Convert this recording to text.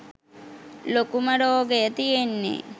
ලොකුමරෝගය තියෙන්නේ.